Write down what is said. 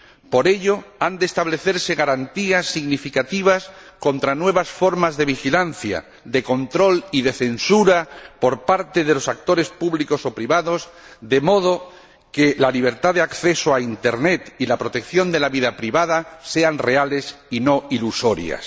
Por ello, han de establecerse garantías significativas contra nuevas formas de vigilancia, de control y de censura por parte de los actores públicos o privados, de modo que la libertad de acceso a Internet y la protección de la vida privada sean reales y no ilusorias.